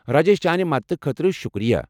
راجیش، چانہِ مدتہٕ خٲطرٕ شُکریہ ۔